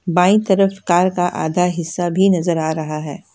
बाईं तरफ कार का आधा हिसा भी नजर आ रहा है।